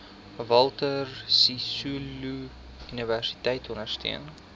walter sisuluuniversiteit ondersteun